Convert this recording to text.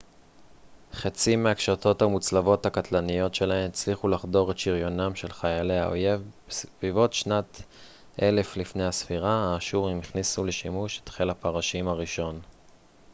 חצים מהקשתות המוצלבות הקטלניות שלהם הצליחו לחדור את שריונם של חיילי האויב בסביבות שנת 1000 לפנה ס האשורים הכניסו לשימוש את חיל הפרשים הראשון